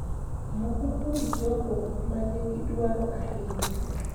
Moko kuom jogo ma nigi dwaro ahinya